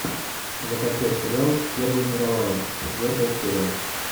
закачай сериал первая мировая четвертая серия